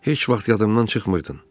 Heç vaxt yadımdan çıxmırdın.